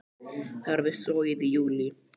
Það var við Sogið í júlí.